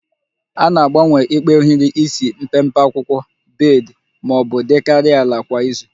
A na-agbanwe ikpe ohiri isi na mpempe akwụkwọ bed ma ọ dịkarịa ala kwa izu